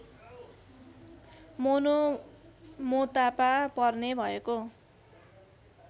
Monomotapa पर्ने भएको